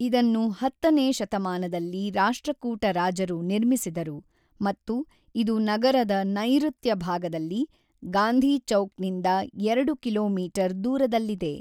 ಇದನ್ನು ಹತ್ತನೇ ಶತಮಾನದಲ್ಲಿ ರಾಷ್ಟ್ರಕೂಟ ರಾಜರು ನಿರ್ಮಿಸಿದರು ಮತ್ತು ಇದು ನಗರದ ನೈಋತ್ಯ ಭಾಗದಲ್ಲಿ, ಗಾಂಧಿ ಚೌಕ್‌ನಿಂದ ಎರಡು ಕಿಲೋಮೀಟರ್ ದೂರದಲ್ಲಿದೆ.